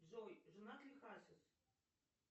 джой женат ли хасис